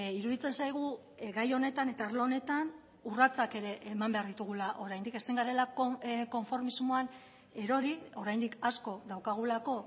iruditzen zaigu gai honetan eta arlo honetan urratsak ere eman behar ditugula oraindik ezin garelako konformismoan erori oraindik asko daukagulako